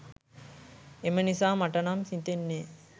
එම නිසා මට නම් හිතෙන්නේ